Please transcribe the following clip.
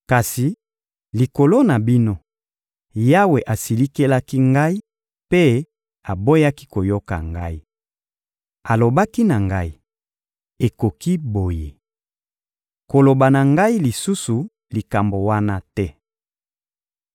Kasi likolo na bino, Yawe asilikelaki ngai mpe aboyaki koyoka ngai. Alobaki na ngai: — Ekoki boye! Koloba na ngai lisusu likambo wana te.